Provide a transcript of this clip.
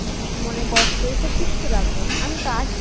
মনে কষ্ট এইসব কিচ্ছু রাখবে না আমি তো আছি